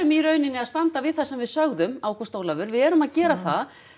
í raun að standa við það sem við sögðum Ágúst Ólafur við erum að gera það